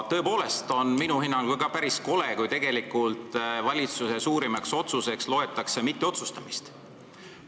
Tõepoolest on minu hinnangul ka päris kole, kui valitsuse suurimaks otsuseks loetakse mitteotsustamist.